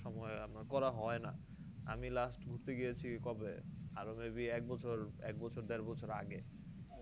সময় আপনার করা হয়না আমি last ঘুরতে গিয়েছি কবে আরো maybe এক বছর এক বছর দেড় বছর আগে